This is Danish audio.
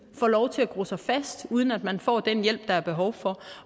får lov til at gro sig fast uden at man får den hjælp der er behov for